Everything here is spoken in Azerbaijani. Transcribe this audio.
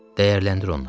Dəyərləndir onları.